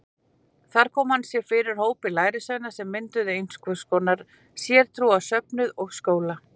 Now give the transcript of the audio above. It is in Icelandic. Þar kom hann sér upp hópi lærisveina sem mynduðu einhvers konar sértrúarsöfnuð og skóla.